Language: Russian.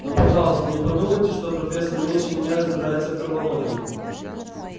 но пожалуйста не подумайте что профессор меньше меня разбирается в травологии